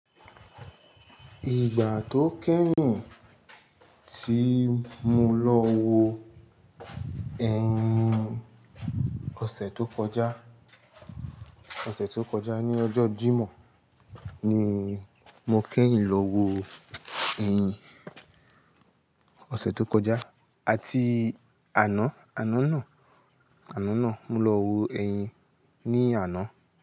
Ìgbà tó kẹ́yìn tí mo lọ wo ẹyin, ọ̀sẹ̀ tó kọjá, ọ̀sẹ̀ tó kọjá ní ọjọ́ Jímọ̀ ni mo kẹ́yìn lọ wo ẹyin. Òṣẹ̀ tó kọjá àti àná, àná náà, àná náà mo lọ wo ẹyin ní àná.